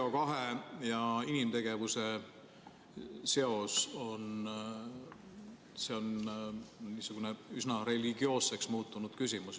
CO2 ja inimtegevuse seos on niisugune üsna religioosseks muutunud küsimus.